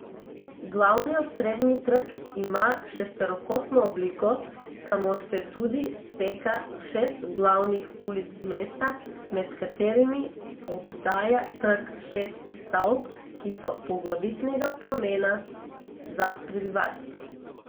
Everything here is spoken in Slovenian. Glavni osrednji trg ima šesterokotno obliko, kamor se tudi steka šest glavnih ulic mesta, med katerimi obdaja trg šest stavb, ki so poglavitnega pomena za prebivalstvo.